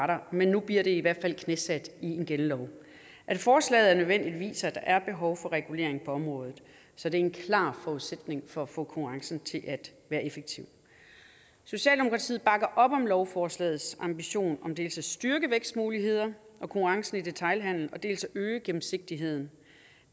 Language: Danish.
der men nu bliver det i hvert fald knæsat i en gældende lov at forslaget er nødvendigt viser at der er behov for regulering på området så det er en klar forudsætning for at få konkurrencen til at være effektiv socialdemokratiet bakker op om lovforslagets ambition om dels at styrke vækstmuligheder og konkurrence i detailhandelen dels at øge gennemsigtigheden